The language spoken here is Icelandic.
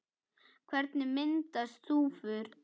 Hvernig myndast þúfur?